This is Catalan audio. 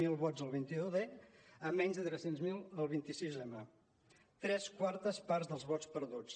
zero vots el vint un d a menys de tres cents miler el vint sis m tres quartes parts dels vots perduts